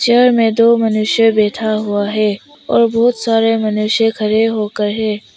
इधर में दो मनुष्य बैठा हुआ है और बहोत सारे मनुष्य खड़े होके हैं।